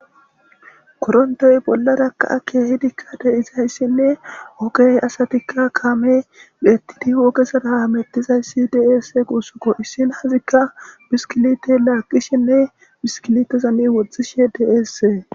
Korontoy bollarakaa keehidikka de izayssinne ogey asatikka kaame bhettidi wookesadamettizayssi deesse guussuko issin hazikka biskilitey laaqishinne biskilitezani woxxishe deessee